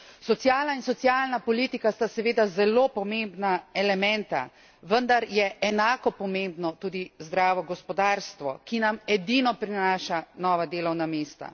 Sociala in socialna politika sta seveda zelo pomembna elementa, vendar je enako pomembno tudi zdravo gospodarstvo, ki nam edino prinaša nova delovna mesta.